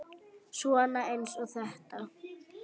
Svona eins og þetta!